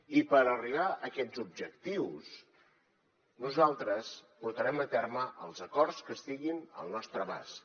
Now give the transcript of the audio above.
i per arribar a aquests objectius nosaltres portarem a terme els acords que estiguin al nostre abast